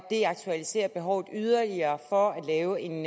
det aktualiserer behovet yderligere for at lave en